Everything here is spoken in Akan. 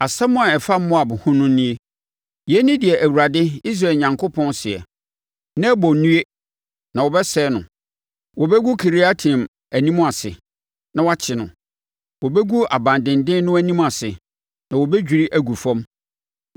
Asɛm a ɛfa Moab ho no nie: Yei ne deɛ Awurade, Israel Onyankopɔn seɛ: “Nebo nnue, na wɔbɛsɛe no. Wɔbɛgu Kiriataim anim ase, na wɔakye no; wɔbɛgu aban denden no anim ase, na wɔadwiri agu fam.